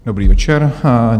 Dobrý večer.